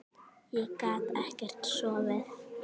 Ég gat ekkert sofið.